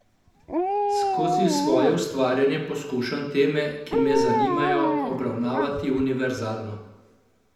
Skozi svoje ustvarjanje poskušam teme, ki me zanimajo, obravnavati univerzalno.